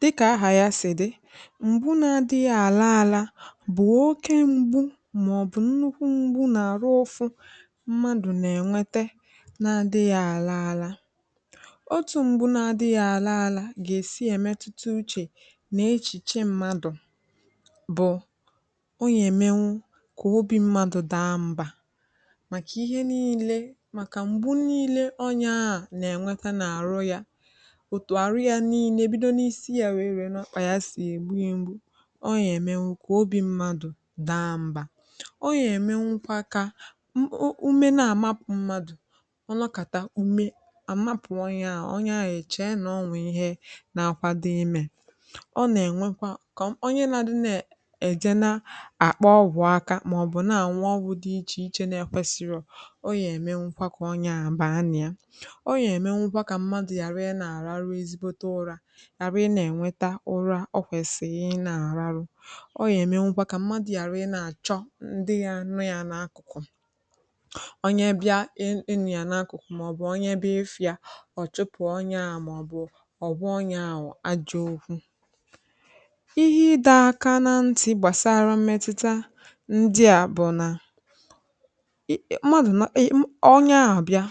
dịkà aha ya sì dị mgbu na adị̄ghị àla ala bụ̀ oke mgbu mà ọ̀ bụ̀ nnukwu mgbu nà àrụ ụfụ mmadù nà ẹ̀nwẹtẹ na adịghị àla ala otu mgbu na adịghị àla ala gà èsi ẹ̀mẹtụta uchè nà echìche mmadù bụ̀ ọ yà èmenwu kà obi mmadù da mbà màkà ihe nille màkà m̀gbu nille onye ahụ nà ẹ̀nwẹka n’àrụ yā otù arụ ya nille bidò n’isi ya wee ruo n’ọkpà ya sì ègbu ya mgbu ọ yà ẹ̀mẹnwu kwà obi mmadù da m̀bà o yà èmenwukwa kà m ume nà àmapụ madù ọ nọkàta ume àmapụ onye ahụ̀ na akwado imẹ̄ ọ nà ẹ̀nwẹkwa kà onye na adi nà ẹ̀ ẹ̀jẹ na àkpa ọgwụ̀ aka mà ọ̀ bụ nà ànwụ ọgwụ̀ dị ichè ichè na ẹkwẹsirò o yà èmènwukwa kà ọnyẹ ahụ̀ baa nà ya ọ yà èmenwukwa kà mmadù ghàra ị nà àrarụ ezigbote urā ghàra ị nà ẹ̀nwẹta ụra ọ kwẹ̀sìrì ị nà àrarụ ọ yà ẹ̀mẹnwụkwa kà mmadù ghàra ị nà àchọ ndị ya anọ̄ ya n’akụ̀kụ̀ onye bịa ị nọ̀ yà n’akụ̀kụ̀ ọ̀ chụpụ̀ onye ahụ̀ mà ọ̀ bụ̀ ọ̀ gwa onye ahụ̀ ajọ̄ okwu ihe ịdọ̄ aka na ntị̄ gbàsara mmẹtụta ndịà bụ̀ nà ị̀..ị̀..mmadù nọ..ọnyẹ ahụ̀ bịa